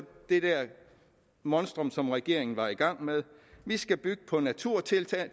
det der monstrum som regeringen var i gang med vi skal bygge på naturtiltag